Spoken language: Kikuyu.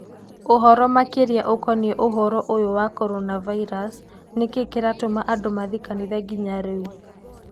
Ũvoro makĩria ũkoniĩ ũvoro ũyũ wa Corona Virus: Nĩ kĩĩ kĩratũma andũ mathiĩ kanitha nginya rĩu?